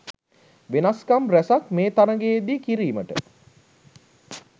වෙනස්කම් රැසක් මේ තරගයේදී කිරීමට